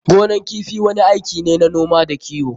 Gonan kifi wani aiki ne na noma da kiwo.